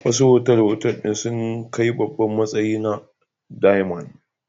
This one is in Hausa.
Wasu otal-otal ɗin sun kai babban matsayi na diamond.